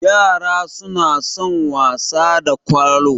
Ƴara suna son wasa da Kwalo